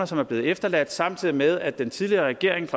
som er blevet efterladt samtidig med at den tidligere regering